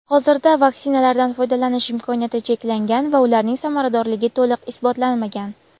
hozirda vaksinalardan foydalanish imkoniyati cheklangan va ularning samaradorligi to‘liq isbotlanmagan.